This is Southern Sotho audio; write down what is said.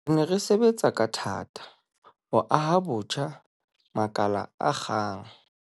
Re ne re sebetsa ka thata ho aha botjha makala a akgang